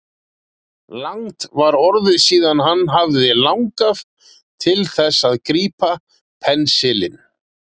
Langt var orðið síðan hann hafði langað til þess að grípa pensilinn.